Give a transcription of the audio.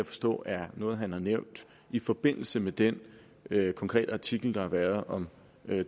forstå er noget han har nævnt i forbindelse med den konkrete artikel der har været om